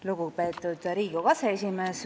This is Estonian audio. Lugupeetud Riigikogu aseesimees!